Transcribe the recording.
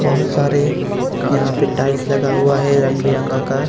बहुत सारे यहां पे टाइल्स लगा हुआ है रंग बिरंगा का.